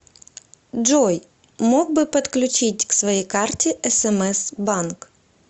джой мог бы подключить к своей карте смс банк